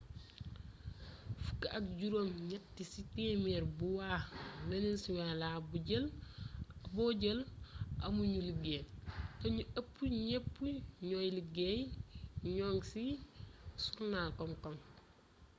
fukk ak juróom ñett ci téeméer bu waa wenesyelaa bo jël amu ñu liggéey té ñu ëpp ñëp ñuuy liggéey ñoŋi ci surnal kom-kom